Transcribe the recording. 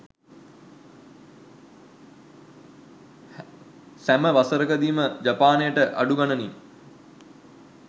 සැම වසරකදීම ජපානයට අඩු ගණනින්